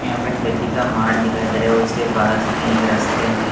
यहां पर खेती का मार्ग दिखाई दे रहे उसके पास में एक रास्ते में--